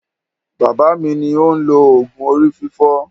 Bàbá mi ni ó ń lo òògùn orí fífọ́.